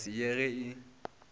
ka se ye ge e